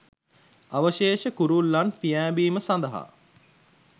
අවශේෂ කුරුල්ලන් පියෑඹීම සඳහා